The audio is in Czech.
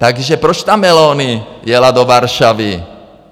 Takže proč ta Meloni jela do Varšavy?